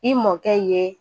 I mɔkɛ ye,